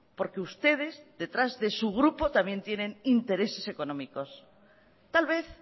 porque ustedes detrás de su grupo también tienen intereses económicos tal vez